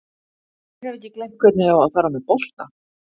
Ég hef ekki gleymt hvernig á að fara með bolta.